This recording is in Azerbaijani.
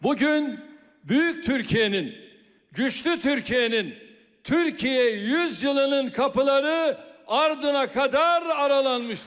Bu gün Böyük Türkiyənin, Güclü Türkiyənin, Türkiyə Əsrinin qapıları ardına qədər aralanmışdır.